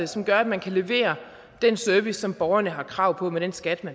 som gør at man kan levere den service som borgerne har krav på med den skat